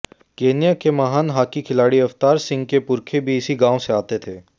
Kenya के महान hockey खिलाड़ी अवतार सिंह के पुरखे भी इसी गांव से आते थे